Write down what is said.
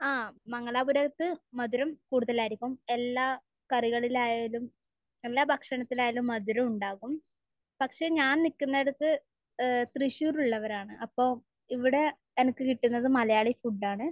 ആ. മംഗലാപുരത്ത് മധുരം കൂടുതലായിരിക്കും. എല്ലാ കറികളിലായാലും എല്ലാ ഭക്ഷണത്തിലായാലും മധുരം ഉണ്ടാകും. പക്ഷെ ഞാൻ നിൽക്കുന്നിടത്ത് ഏഹ് തൃശൂർ ഉള്ളവരാണ്. അപ്പൊ ഇവിടെ എനിക്ക് കിട്ടുന്നത് മലയാളി ഫുഡാണ്.